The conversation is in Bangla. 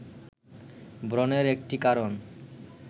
ব্রণের একটি কারণ